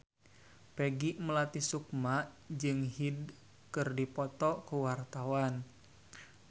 Peggy Melati Sukma jeung Hyde keur dipoto ku wartawan